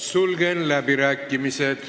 Sulgen läbirääkimised.